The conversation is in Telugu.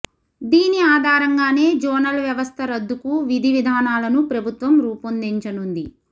దీని ఆధారంగానే జోనల్ వ్యవస్థ రద్దుకు విధి విధానాలను ప్రభుత్వం రూపొందించనుంది